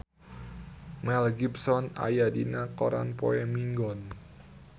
Mel Gibson aya dina koran poe Minggon